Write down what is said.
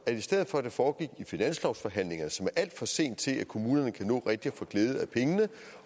for at det foregik i finanslovsforhandlingerne som er alt for sent til at kommunerne kan nå rigtig at få glæde af pengene